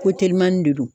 Ko telimani de don